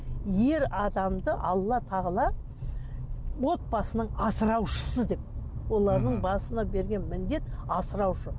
ер адамды алла тағала отбасының асыраушысы деп олардың басына берген міндет асыраушы